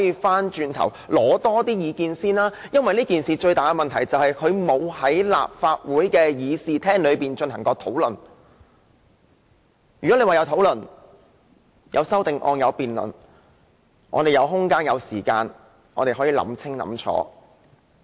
問題的癥結是修訂規例沒有在立法會的議事廳進行過討論，如果曾進行討論，有修正案及辯論，我們便有空間、時間想清楚。